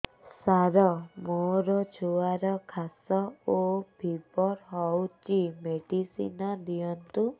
ସାର ମୋର ଛୁଆର ଖାସ ଓ ଫିବର ହଉଚି ମେଡିସିନ ଦିଅନ୍ତୁ